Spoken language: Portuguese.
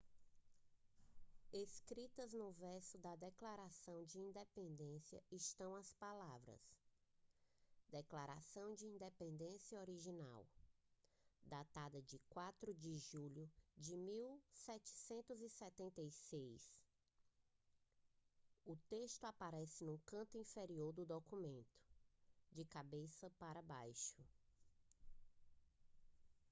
escritas no verso da declaração de independência estão as palavras declaração de independência original datada de 4 de julho de 1776 o texto aparece no canto inferior do documento de cabeça para baixo